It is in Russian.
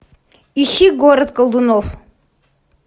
ищи город колдунов